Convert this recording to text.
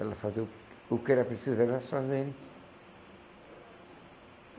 Ela fazia o que o que era preciso elas fazerem.